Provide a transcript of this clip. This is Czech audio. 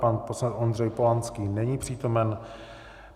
Pan poslanec Ondřej Polanský není přítomen.